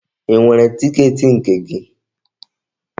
Ị nwere tiketi nke gị?